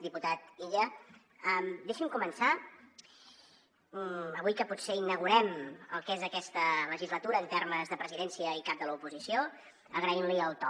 diputat illa deixi’m començar avui que potser inaugurem el que és aquesta legislatura en termes de presidència i cap de l’oposició agraint li el to